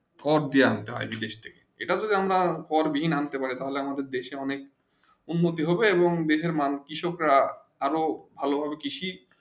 for দিয়েন তাই আটা তো আমরা ফর দিন আনতে পারে তালে আমাদের দেশে অনেক উন্নতি হবে এবং বিভিন্ন মানে কৃষক রা ভালো ভাবে কৃষি